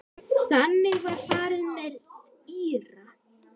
Þannig var farið með Íra.